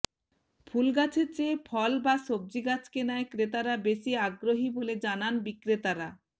ফুলগাছের চেয়ে ফল বা সবজি গাছ কেনায় ক্রেতারা বেশী আগ্রহী বলে জানান বিক্রেতারা